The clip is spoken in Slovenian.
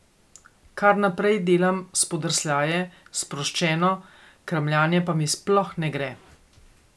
Kar naprej delam spodrsljaje, sproščeno kramljanje pa mi sploh ne gre.